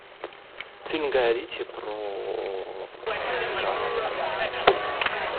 фильм гая ричи про цыган